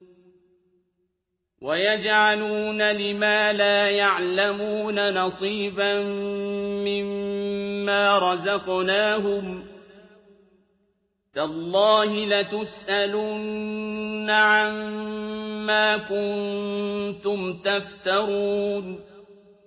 وَيَجْعَلُونَ لِمَا لَا يَعْلَمُونَ نَصِيبًا مِّمَّا رَزَقْنَاهُمْ ۗ تَاللَّهِ لَتُسْأَلُنَّ عَمَّا كُنتُمْ تَفْتَرُونَ